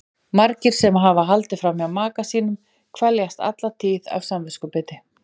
Margir sem hafa haldið fram hjá maka sínum kveljast alla tíð af samviskubiti.